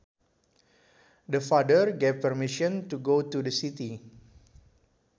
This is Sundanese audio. The father gave permission to go to the city